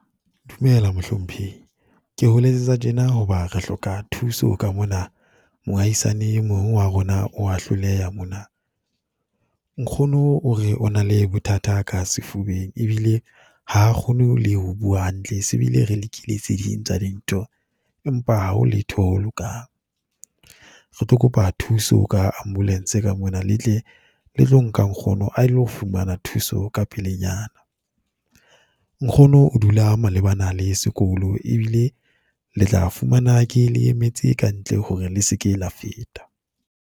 Dumela Mohlomphehi, ke ho letsetsa tjena ho ba re hloka thuso ka mona. Mohahisane e mong wa rona o wa hloleha mona. Nkgono o re o na le bothata ka sefubeng, e bile ha a kgone le ho bua hantle. Se bile re lekile tse ding tsa dintho, empa ha ho letho ho lokang. Re tlo kopa thuso ka ambulance ka mona, le tle le tlo nka nkgono a lo fumana thuso ka pelenyana. Nkgono o dula malebana le sekolo, e bile le tla fumana ke le emetse ka ntle hore le se ke la feta.